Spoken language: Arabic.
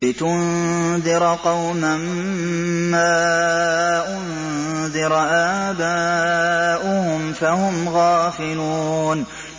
لِتُنذِرَ قَوْمًا مَّا أُنذِرَ آبَاؤُهُمْ فَهُمْ غَافِلُونَ